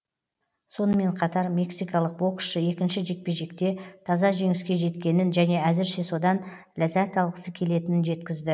сонымен қатар мексикалық боксшы екінші жекпе жекте таза жеңіске жеткенін және әзірше содан ләззат алғысы келетінін жеткізді